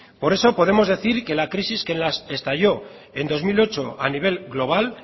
por eso podemos decir que la crisis que estalló en dos mil ocho a nivel global